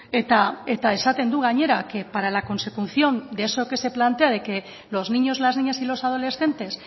eta esaten du gainera que para la consecución de eso que se plantea de que los niños las niñas y los adolescentes